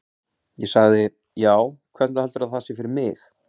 Ég sagði: Já, hvernig heldurðu að það sé fyrir mig?